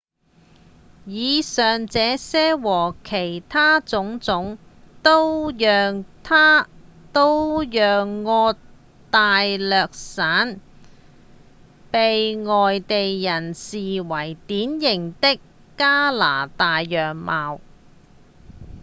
以上這些和其他種種都讓安大略省被外地人視為典型的加拿大樣貌